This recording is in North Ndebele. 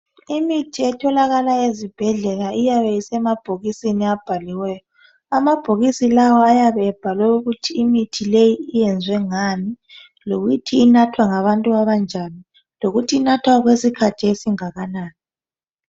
imithi etholakala ezibhedlela iyabe isemabhokisini abhaliweyo amabhokisi lawa ayabe ebhalwe ukuthi imithi leyi iyenziwe ngani lokuthi inathwa ngabantu abanjani lokuthi inathwa okwesikhathi esingakanani